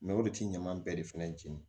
o de ti ɲaman bɛɛ de fɛnɛ jeni